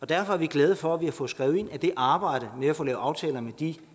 derfor er vi glade for at vi har fået skrevet ind at det arbejde med at få lavet aftaler med de